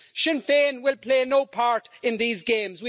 Sinn Féin will play no part in these games.